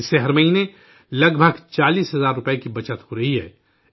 اس سے ہر مہینے تقریباً 40 ہزار روپے کی بچت ہو رہی ہے